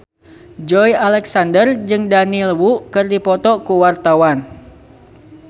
Joey Alexander jeung Daniel Wu keur dipoto ku wartawan